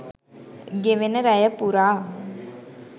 ගෙවෙන රැය පුරා